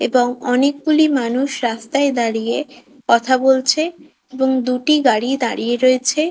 এবং অনেকগুলি মানুষ রাস্তায় দাঁড়িয়ে কথা বলছে এবং দুটি গাড়ি দাঁড়িয়ে রয়েছে।